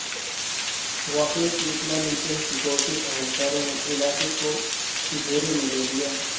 واقعے کی اطلاع ملتے ہی سکیورٹی اہلکاروں نے علاقے کو گھیرے میں لے لیا